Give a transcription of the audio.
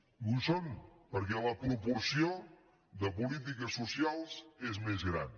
i ho són perquè la proporció de polítiques socials és més gran